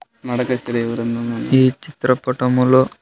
ఈ చిత్ర పటములో.